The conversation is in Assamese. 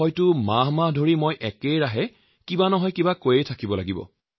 মই যদি কেৱল তেওঁলোকৰ বিষয়েই কথা কৈ থাকো সম্ভৱতঃ কেইবা মাহ জুৰি ইয়াৰ উত্তৰকে দি থাকিব লাগিব